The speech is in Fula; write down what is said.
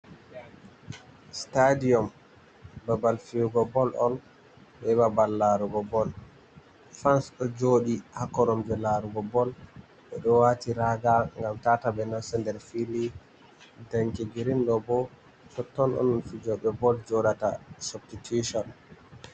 Stadium babal fiugo bol on, be babal larugo bol, fans ɗo joɗi ha koromje larugo bol, ɓe ɗo wati raga ngam tata ɓe nasta nder fili, danki grin ɗo bo toton on fijoɓe bol joɗata substitution.